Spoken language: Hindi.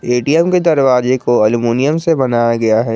ए_टी_एम के दरवाजे को अल्मुनियम से बनाया गया है।